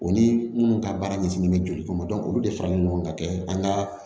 O ni minnu ka baara ɲɛsinnen bɛ joli kɔnɔ olu de faralen ɲɔgɔn kan kɛ an ka